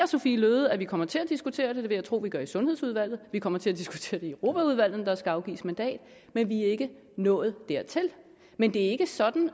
sophie løhde at vi kommer til at diskutere det det vil jeg tro vi gør i sundhedsudvalget og vi kommer til at diskutere det i europaudvalget når der skal afgives mandat men vi er ikke nået dertil men det er ikke sådan